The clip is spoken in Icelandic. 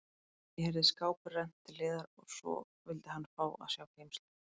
Ég heyrði skáphurð rennt til hliðar og svo vildi hann fá að sjá geymsluna.